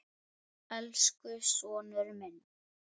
Elsku sonur minn.